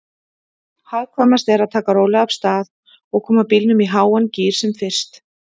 Hagkvæmast er að taka rólega af stað og koma bílnum í háan gír sem fyrst.